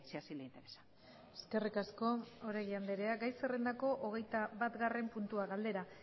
así le interesa eskerrik asko oregi andrea gai zerrendako hogeita batgarren puntua galdera